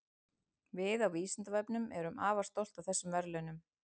Við á Vísindavefnum erum afar stolt af þessum verðlaunum.